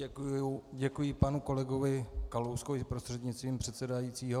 Děkuji panu kolegovi Kalouskovi prostřednictvím předsedajícího.